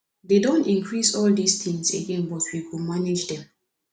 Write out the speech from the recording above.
they don increase all dis things again but we go manage dem